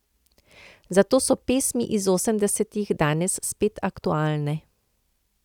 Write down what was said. Zato so pesmi iz osemdesetih danes spet aktualne.